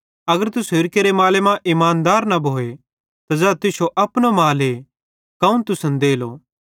अगर तुसेईं होरि केरे माले मां इमानदार न भोए त ज़ै तुश्शो अपनो माले कौन तुसन देलो